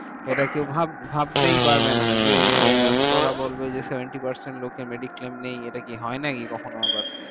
এটা কেউ ভাব~ ভাবতেই পারবেনা যে, ওরা বলবে যে seventy percent লোকের mediclaim নেই। এটা কি হয় নাকি কখনো আবার?